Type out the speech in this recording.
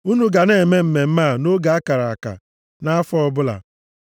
Unu ga na-eme mmemme a nʼoge a kara aka nʼafọ ọbụla.